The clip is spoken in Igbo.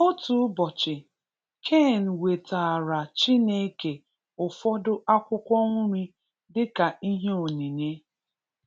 Otu ụbọchị, Cain wetaara Chineke ụfọdụ akwụkwọ nri dịka ihe onyinye.